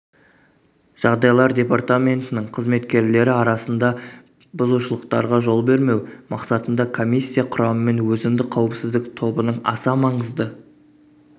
жағдайлар департаментінің қызметкерлері арасында бұзушылықтарға жол бермеу мақсатында коммиссия құрамымен өзіндік қауіпсіздік тобының аса маңызды